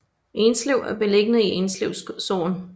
Enslev er beliggende i Enslev Sogn